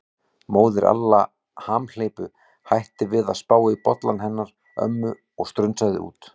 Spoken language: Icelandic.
Móðir Alla hamhleypu hætti við að spá í bollann hennar ömmu og strunsaði út.